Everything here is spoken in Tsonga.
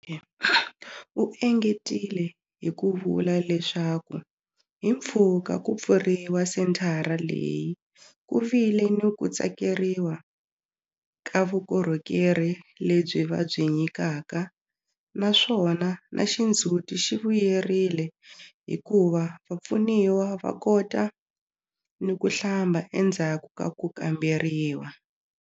U engetile hi ku vula leswaku hi mpfhuka ku pfuriwa senthara leyi, ku vile ni ku tsakeriwa ka vukorhokeri lebyi va byi nyikaka naswona na xindzhuti xi vuyelerile hikuva vapfuniwa va kota ni ku hlamba endzhaku ka ku kamberiwa.